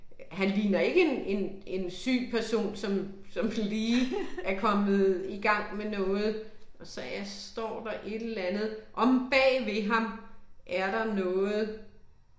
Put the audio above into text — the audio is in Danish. Han ligner ikke en en en syg person, som som lige er kommet i gang med noget så ja, står der et eller andet, omme bag ved ham er der noget